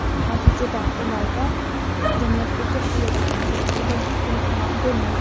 Natijada ularda jamiyatdagi hayot uchun kerakli bo‘lgan ko‘nikmalar bo‘lmaydi.